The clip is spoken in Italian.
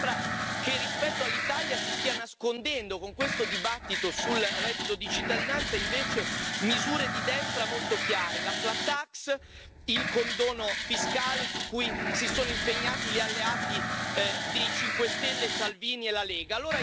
A me sembra che rispetto all'Italia si stia nascondendo, con questo dibattito sul reddito di cittadinanza, invece, misure di destra molto chiare la flat tax, il condono fiscale, su cui si sono impegnati gli alleati dei 5 Stelle, Salvini e la Lega.